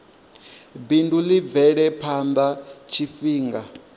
bindu ḽi bvele phanḓa tshifhinga